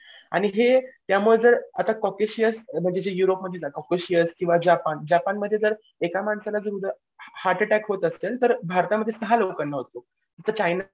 आणि हे त्यामुळे जर आता कोकिसिअस म्हणजे ही युरोपमध्ये ना कॉकेशिअस किंवा जपान जपानमध्ये जर एका माणसाला जर हर्ट अटॅक होत असेल तर भारतामध्ये सहा लोकांना होतो इथं चायना